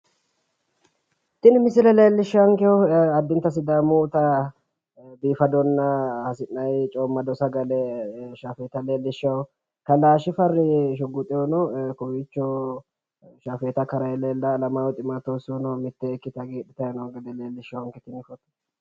Tini misile leellishshannokehu addinta sidaamuyita biifadonna hasi'nayi coommado sagale shaafeeta leellishshawo. Kalaa shifarri shugguxehuno kowiicho shaafeeta karayi leellawo. Alamaayyo ximootewosihuno mittee ikkite hagiidhitayi noonke gede leellishawonke tini foto.